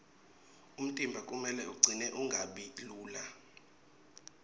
umtimba kumele ucine ungabi lula